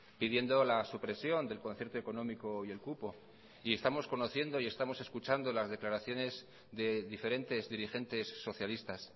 pidiendo la supresión del concierto económico y el cupo y estamos conociendo y estamos escuchando las declaraciones de diferentes dirigentes socialistas